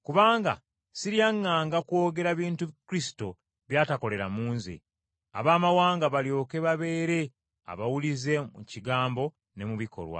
kubanga siryaŋŋanga kwogera bintu Kristo by’atakolera mu nze Abaamawanga balyoke babeere abawulize mu kigambo ne mu bikolwa,